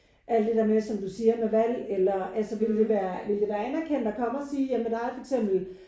Alt det der med som du siger med valg eller altså ville det være ville det være anerkendt at komme og sige ja men der er for eksempel